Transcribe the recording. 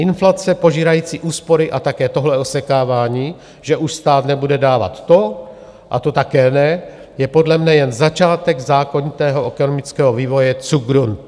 Inflace požírající úspory a také tohle osekávání, že už stát nebude dávat to, a to také ne, je podle mne jen začátek zákonitého ekonomického vývoje zugrund.